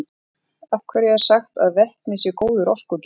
af hverju er sagt að vetni sé góður orkugjafi